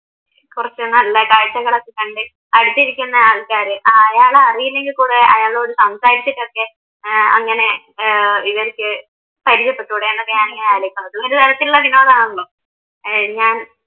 കുറച്ച് നല്ലതായിട്ട് ഇങ്ങനെ കണ്ട് അടുത്തിരിക്കുന്ന ആൾക്കാര് ആരാണെന്ന് അറിയില്ലെങ്കിൽ കൂടെ അയാളോട് സംസാരിച്ചിട്ടൊക്കെ ഏർ അങ്ങനെ ഇവരിക്ക് പരിചയപ്പെട്ടൂടെ അങ്ങനെ ഞാൻ ആലോചിക്കും അതും ഒരു തരത്തിലുള്ള വിനോദമാണല്ലോ